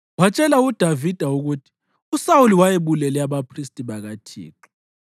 Watshela uDavida ukuthi uSawuli wayebulele abaphristi bakaThixo.